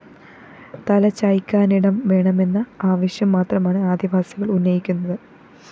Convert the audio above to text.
തലചായ്ക്കാനിടം വേണമെന്ന ആവശ്യം മാത്രമാണ് ആദിവാസികള്‍ ഉന്നയിക്കുന്നത്